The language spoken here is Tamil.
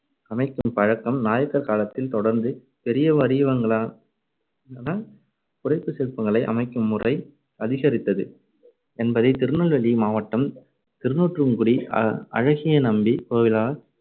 அமைக்கும் பழக்கம் நாயக்கர் காலத்தில் தொடர்ந்து பெரிய வடிவங்ளிலான புடைப்புச் சிற்பங்களை அமைக்கும்முறை அதிகரித்தது என்பதை திருநெல்வேலி மாவட்டம் திருக்குறுங்குடி அ~ அழகியநம்பி கோவிலால்,